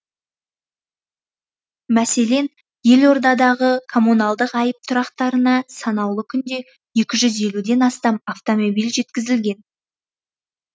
мәселен елордадағы коммуналдық айып тұрақтарына санаулы күнде екі жүз елуден астам автомобиль жеткізілген